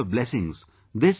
We seek your blessings